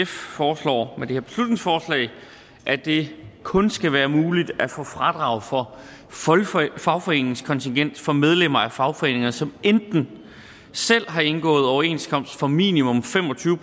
foreslår med det her beslutningsforslag at det kun skal være muligt at få fradrag for fagforeningskontingent for medlemmer af fagforeninger som enten selv har indgået overenskomst for minimum fem og tyve